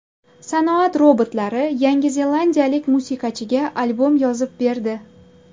Sanoat robotlari Yangi zelandiyalik musiqachiga albom yozib berdi .